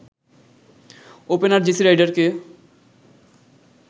opener Jesse রাইডারকে